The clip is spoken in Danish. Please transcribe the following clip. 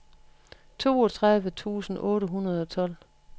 toogtredive tusind otte hundrede og tolv